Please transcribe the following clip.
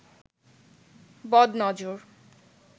বদ নজর